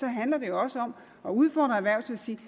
handler det jo også om at udfordre erhvervslivet